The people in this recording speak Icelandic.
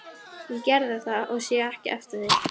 Ég gerði það og sé ekki eftir því.